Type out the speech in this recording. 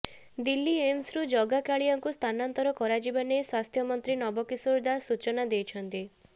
ଦିଲ୍ଲୀ ଏମସରୁ ଜଗାକାଳିଆଙ୍କୁ ସ୍ଥାନାନ୍ତର କରାଯିବା ନେଇ ସ୍ୱାସ୍ଥ୍ୟମନ୍ତ୍ରୀ ନବକିଶୋର ଦାସ ସୂଚନା ଦେଇଥିଲେ